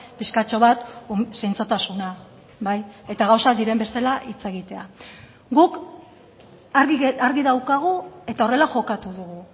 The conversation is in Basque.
pixkatxo bat zintzotasuna bai eta gauzak diren bezala hitz egitea guk argi daukagu eta horrela jokatu dugu